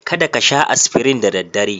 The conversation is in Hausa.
Kada ka sha Aspirin da daddare.